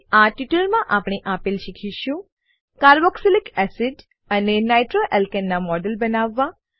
આ ટ્યુટોરીયલમાં આપણે આપેલ શીખીશું કાર્બોક્સિલિક એસિડ અને નાઇટ્રોઆલ્કાને નાં મોડેલો બનાવવા